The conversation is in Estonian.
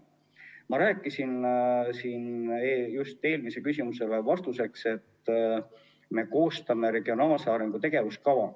Ma rääkisin siin just eelmisele küsimusele vastates sellest, et me koostame regionaalse arengu tegevuskava.